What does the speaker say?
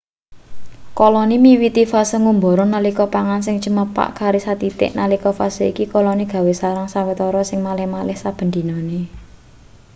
koloni miwiti fase ngumbara nalika pangan sing cumepak kari sathithik nalika fase iki koloni gawe sarang sawetara sing malih-malih saben dinane